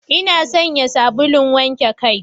Ina sayan sabulun wanke kai.